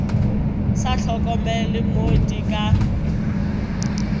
sa hlokomele mo di ka